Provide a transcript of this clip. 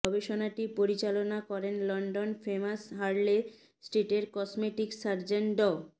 গবেষণাটি পরিচালনা করেন লন্ডন ফেমাস হার্লে স্ট্রিটের কসমেটিক সার্জন ড